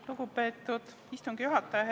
Lugupeetud istungi juhataja!